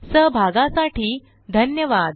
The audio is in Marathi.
सहभागासाठी धन्यवाद